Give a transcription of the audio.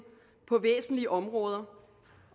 på væsentlige områder